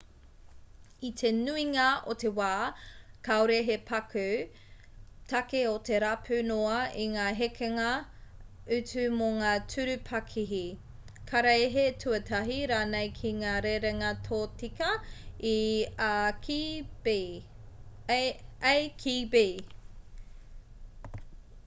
i te nuinga o te wā kāore he paku take o te rapu noa i ngā hekenga utu mō ngā tūru pakihi karaehe-tuatahi rānei ki ngā rerenga tōtika i a ki b